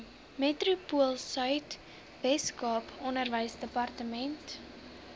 metropoolsuid weskaap onderwysdepartement